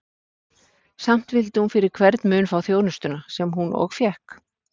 Samt vildi hún fyrir hvern mun fá þjónustuna, sem hún og fékk.